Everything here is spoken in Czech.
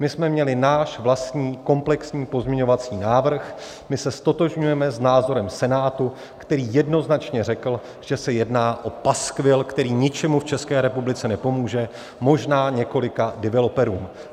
My jsme měli náš vlastní komplexní pozměňovací návrh, my se ztotožňujeme s názorem Senátu, který jednoznačně řekl, že se jedná o paskvil, který ničemu v České republice nepomůže, možná několika developerům.